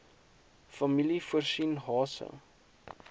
familie voorsien hase